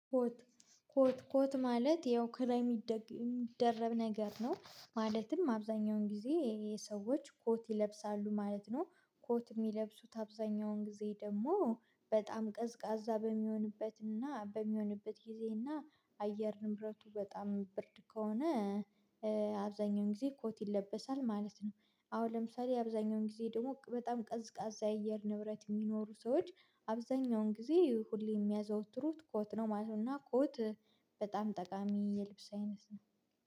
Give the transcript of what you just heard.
ኮት ኮት ኮት ማለት ይኸው ከላይ የሚደረብ ነገር ነው። ማለትም አብዛኛውን ጊዜ የሰዎች ኮት ይለብሳሉ ማለት ነው። ኮት የሚለብሱት አብዛኛውን ጊዜ ደግሞ በጣም ቀዝቃዛ በሚሆንበትና በሚሆንበት ጊዜና አየር ንብረቱ በጣም ብርድ ከሆነ አብዛኛውን ጊዜ ኮት ይለበሳል ማለት ነው። አሁን ለምሳሌ አብዛኛውን ጊዜ ደግሞ በጣም ቀዝቃዛ የየር ንብረት የሚኖሩ ሰዎች አብዛኛውን ጊዜ ሁሌ የሚያዘወትሩት ኮት ነው ማለት ነው። እና ኮት በጣም ጠቃሚ የልብስ አይነት ነው።